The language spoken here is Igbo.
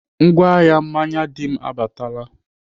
Ngwa ahịa mmanya Dim abaatala.